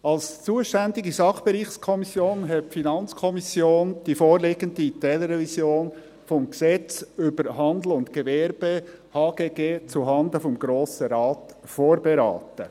Als zuständige Sachbereichskommission hat die FiKo die vorliegende Teilrevision des HGG zuhanden des Grossen Rates vorberaten.